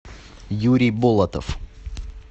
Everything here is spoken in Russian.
юрий болотов